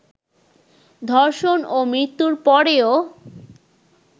ধর্ষণ ও মৃত্যুর পরেও